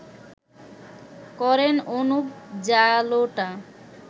করেন অনুপ জালোটা